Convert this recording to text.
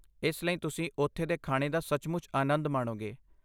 ਇਸ ਲਈ ਤੁਸੀਂ ਉੱਥੇ ਦੇ ਖਾਣੇ ਦਾ ਸੱਚਮੁੱਚ ਆਨੰਦ ਮਾਣੋਗੇ।